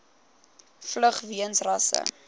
vlug weens rasse